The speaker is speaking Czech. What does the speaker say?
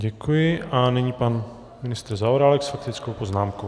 Děkuji a nyní pan ministr Zaorálek s faktickou poznámkou.